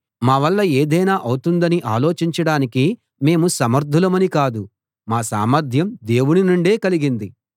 మావల్ల ఏదైనా అవుతుందని ఆలోచించడానికి మేము సమర్థులమని కాదు మా సామర్ధ్యం దేవుని నుండే కలిగింది